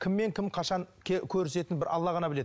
кіммен кім қашан көрісетінін бір алла ғана біледі